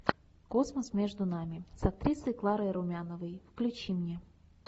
космос между нами с актрисой кларой румяновой включи мне